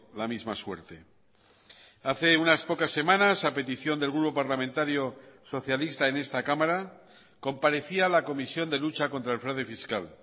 la misma suerte hace unas pocas semanas a petición del grupo parlamentario socialista en esta cámara comparecía la comisión de lucha contra el fraude fiscal